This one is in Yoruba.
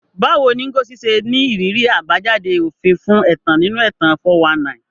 Báwo ni Ngozi ṣe ní ìrírí àbájáde òfin fún ẹ̀tàn nínú ẹ̀tàn 419?